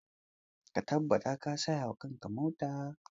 Ka tabbata ka saya wa kakar ka mota!